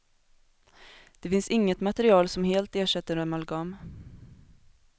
Det finns inget material som helt ersätter amalgam.